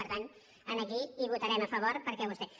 per tant aquí hi votarem a favor perquè vostè